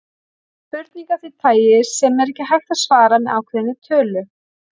Þetta er spurning af því tagi sem er ekki hægt að svara með ákveðinni tölu.